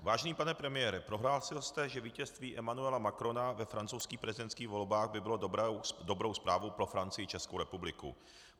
Vážený pane premiére, prohlásil jste, že vítězství Emmanuela Macrona ve francouzských prezidentských volbách by bylo dobrou zprávou pro Francii i Českou republiku.